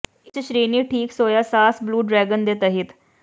ਇਸ ਸ਼੍ਰੇਣੀ ਠੀਕ ਸੋਇਆ ਸਾਸ ਬਲੂ ਡਰੈਗਨ ਦੇ ਤਹਿਤ